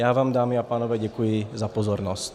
Já vám, dámy a pánové, děkuji za pozornost.